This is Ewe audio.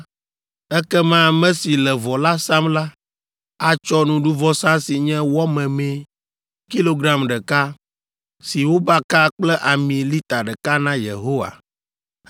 ekema ame si le vɔ la sam la atsɔ nuɖuvɔsa si nye wɔ memee kilogram ɖeka, si wobaka kple ami lita ɖeka na Yehowa,